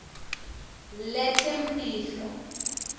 letemphilo